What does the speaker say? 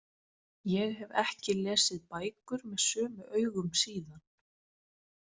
Ég hef ekki lesið bækur með sömu augum síðan.